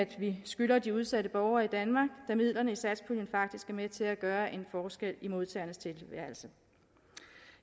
vi skylder de udsatte borgere i danmark da midlerne i satspuljen faktisk er med til at gøre en forskel i modtagernes tilværelse